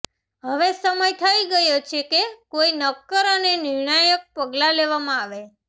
હવે સમય થઈ ગયો છે કે કોઈ નક્કર અને નિર્ણાયક પગલા લેવામાં આવે